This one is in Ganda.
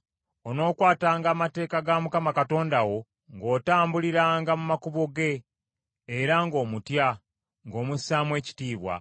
“Onookwatanga amateeka ga Mukama Katonda wo ng’otambuliranga mu makubo ge, era ng’omutya, ng’omussaamu ekitiibwa.